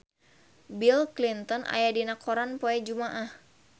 Bill Clinton aya dina koran poe Jumaah